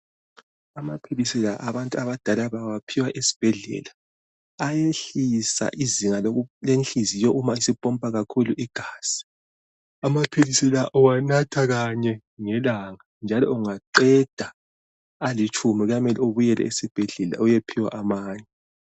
Amaphilisi la abantu abadala bawaphiwa esibhedlela. Ayehlisa izinga lenhliziyo uma isipompa kakhulu igazi. Amaphilisi la uwathwa kanye ngelanga njalo ungaqeda alitshumi kumele ubuyele esibhedlela uyephiwa amanye.